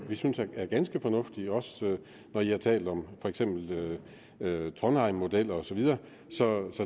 vi synes er ganske fornuftige også når i har talt om for eksempel trondheim modeller og så videre så